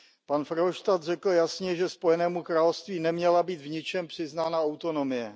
Pan Verhofstadt řekl jasně, že Spojenému království neměla být v ničem přiznána autonomie.